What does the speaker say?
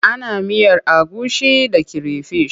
Ana miyar agushi da creyfish.